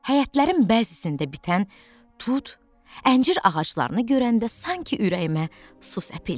Həyətlərin bəzisində bitən tut, əncir ağaclarını görəndə sanki ürəyimə su səpildi.